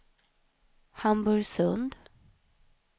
Hamburgsund